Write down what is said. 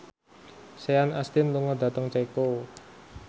Sean Astin lunga dhateng Ceko